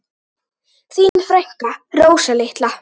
Þín frænka, Rósa litla.